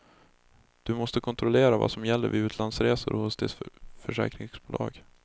Du måste kontrollera vad som gäller vid utlandsresor hos ditt försäkringsbolag.